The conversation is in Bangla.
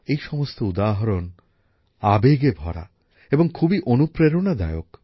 এই সমস্ত উদাহরণ আবেগে ভরা এবং খুবই অনুপ্রেরণাদায়ক